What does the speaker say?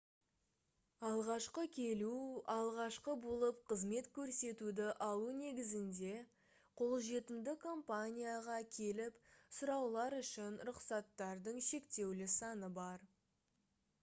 алғашқы келу алғашқы болып қызмет көрсетуді алу негізінде қолжетімді компанияға келіп сұраулар үшін рұқсаттардың шектеулі саны бар